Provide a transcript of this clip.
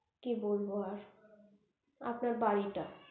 কি বলবো আর আপনার বাড়িটা